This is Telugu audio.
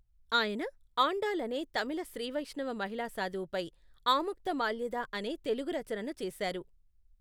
ఆయన ఆండాళ్ అనే తమిళ శ్రీ వైష్ణవ మహిళా సాధువుపై ఆముక్తమాల్యద అనే తెలుగు రచనను చేశారు.